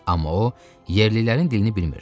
Amma o, yerlilərin dilini bilmirdi.